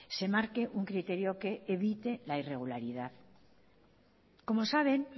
se marque un criterio que evite la irregularidad como saben